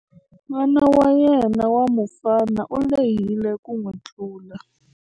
N'wana wa yena wa mufana u lehile ku n'wi tlula.